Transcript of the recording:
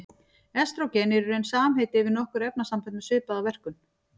Estrógen er í raun samheiti yfir nokkur efnasambönd með svipaða verkun.